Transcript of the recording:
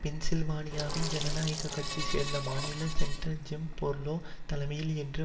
பென்சில்வானியாவின் ஜனநாயக கட்சியை சேர்ந்த மாநில செனட்டர் ஜிம் பெர்லோ தலைமையில் என்று